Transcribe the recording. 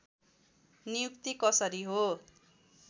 नियुक्ति कसरी हो